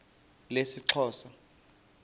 lesixhosa